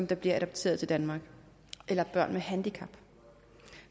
der bliver adopteret i danmark eller børn med handicap